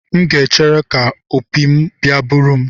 M ga-echere ka opi m bia buru m.